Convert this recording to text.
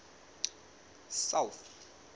south